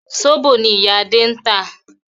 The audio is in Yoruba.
Zobo ni ìyá Adé ń tà